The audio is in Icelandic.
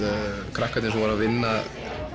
krakkarnir sem voru að vinna